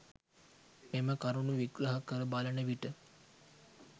මෙම කරුණු විග්‍රහ කර බලන විට